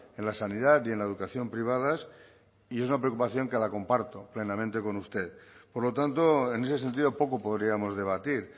en la sanidad y en la educación privadas y esa preocupación que la comparto plenamente con usted por lo tanto en ese sentido poco podríamos debatir